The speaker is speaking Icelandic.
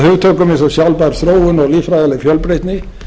hugtökum eins og sjálfbær þróun og líffræðileg fjölbreytni